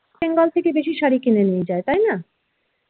bengal থেকে বেশি শাড়ি কিনে নিয়ে যায়. তাই না?